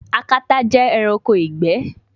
Akata jẹ ẹranko igbẹ